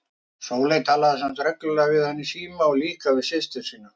Sóley talaði samt reglulega við hann í síma og líka við systur sínar.